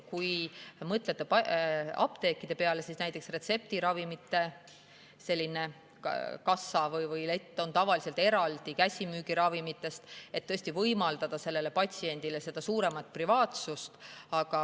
Kui mõtlete apteekide peale, siis näiteks retseptiravimite kassa või lett on tavaliselt eraldi käsimüügiravimite letist, et võimaldada patsiendile suuremat privaatsust.